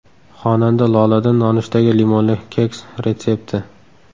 Xonanda Loladan nonushtaga limonli keks retsepti.